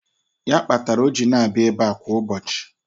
Ya kpatara o ji na-abịa ebe kwa ụbọchị.